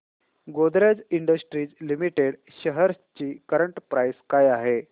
Godrej industries limited shares ची current price काय आहे